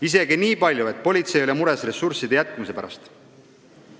Isegi nii palju, et politsei oli mures, kas neil selleks tööks ressursse jätkub.